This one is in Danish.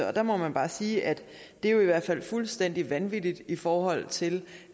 og der må man bare sige at det jo i hvert fald er fuldstændig vanvittigt i forhold til